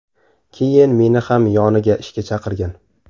Keyin meni ham yoniga ishga chaqirgan.